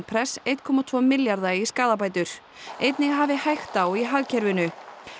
press einn komma tvo milljarða í skaðabætur einnig hafi hægt á í hagkerfinu